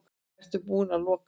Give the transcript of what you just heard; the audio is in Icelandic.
Eruði búin að loka?